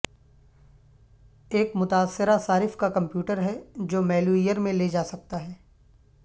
ایک متاثرہ صارف کا کمپیوٹر ہے جو میلویئر میں لے جا سکتا ہے